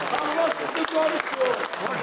Allah sizi qorusun, var olun, çox sağ olun.